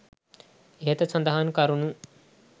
ඉහත සඳහන් කරුණු